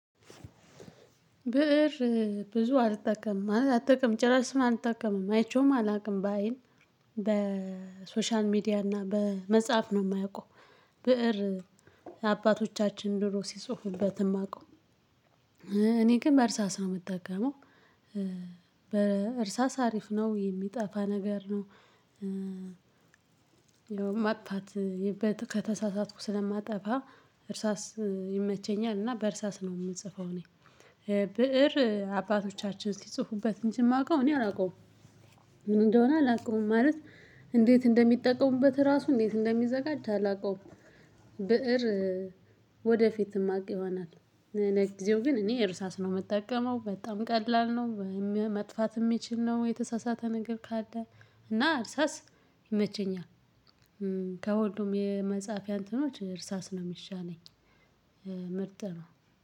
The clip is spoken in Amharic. ብእር ብዙ አልጠቀምም ማለት አልጠቀምም ጭራሹን አልጠቀምም አይቼውም አላውቅም በዐይን በሶሻል ሚዲያ እና በመጽሐፍ ነው የማውቀው። ብእር አባቶቻችን ድሮ ሲጽፉበት የማውቀው። እኔ ግን በእርሳስ የምጠቀመው በእርሳስ አሪፍ ነው የሚጠፋ ነገር ነው። ያው ማጥፋት ከተሳሳትኩ ስለማጠፋ እርሳስ ይመቸኛል እና በእርሳስ ነው የምጽፈው። እኔ ብእር አባቶቻችን ሲጽፉበት እንጂ የማውቀው እኔ አላውቀውም። ምን እንደሆነ አላውቀውም። ማለት እንዴት እንደሚጠቀሙበት ራሱ እንዴት እንደሚዘጋጅ አላውቀውም። ብእር ወደፊት የማውቀው ይሆናል። ጊዜው ግን እኔ እርሳስ ነው የምጠቀመው በጣም ቀላል ነው። መጥፋት የሚችል ነው የተሳሳተ ነገር ካለ እና እርሳስ ይመቸኛል። ከሁሉም የመጽሐፍ እንትኖች እርሳስ ነው የሚሻለኝ ምርጥ ነው።